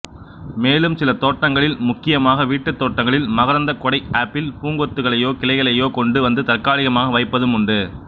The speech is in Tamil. மேலும் சில தோட்டங்களில் முக்கியமாக வீட்டுத்தோட்டங்களில் மகரந்தக் கொடை ஆப்பிள் பூங்கொத்துகளையோ கிளைகளையோ கொண்டு வந்து தற்காலிகமாக வைப்பதும் உண்டு